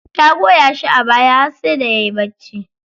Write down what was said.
Ta goya shi a baya har sai da yayi bacci.